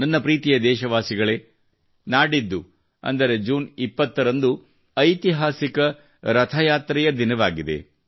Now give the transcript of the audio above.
ನನ್ನ ಪ್ರೀತಿ ದೇಶವಾಸಿಗಳೇ ನಾಡಿದ್ದು ಅಂದರೆ ಜೂನ್ 20 ರಂದು ಐತಿಹಾಸಿಕ ರಥಯಾತ್ರೆಯ ದಿನವಾಗಿದೆ